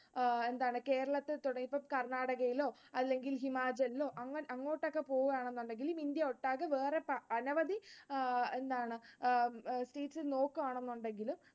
ആഹ് എന്താണ്? കേരളത്തിൽതുടങ്ങി ഇപ്പൊ കർണാടകയിലോ അല്ലെങ്കിൽ ഹിമാചലിലോ അങ്ങോട്ടൊക്കെ പോവുകയാണെന്നുണ്ടെങ്കിൽ ഇന്ത്യയൊട്ടാകെ വേറെ അനവധി എന്താണ് നോക്കുവാണെന്നുണ്ടെങ്കിൽ